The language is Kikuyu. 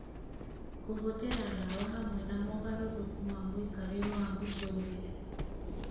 kũhũthĩra ndawa hamwe na mogarũrũku ma mũikarĩre wa mũtũũrĩre